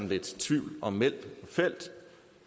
lidt tvivl om meld og feld